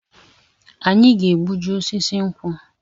Anyị ga-egbuji osisi nkwụ